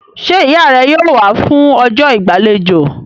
Ṣé ìyá rẹ yóò wá fún ọjọ́ ìgbàlejò?